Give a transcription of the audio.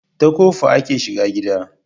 Ta kofa ake shiga gida